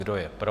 Kdo je pro?